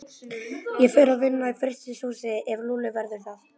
Ég fer að vinna í frystihúsi ef Lúlli verður þar.